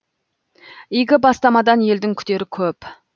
игі бастамадан елдің күтері көп